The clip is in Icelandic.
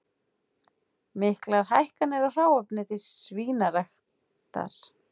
Miklar hækkanir á hráefni til svínaræktar